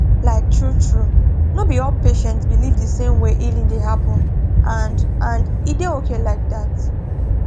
like truetrue no be all patients believe the same way healing dey happen and and e dey okay like that